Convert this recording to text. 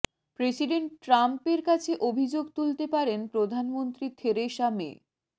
president ট্রাম্পের কাছে অভিযোগ তুলতে পারেন প্রধানমন্ত্রী থেরেসা মে